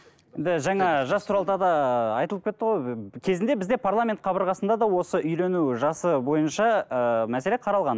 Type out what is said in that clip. енді жаңа жас туралы тағы да айтылып кетті ғой кезінде бізде парламент қабырғасында да осы үйлену жасы бойынша ыыы мәселе қаралған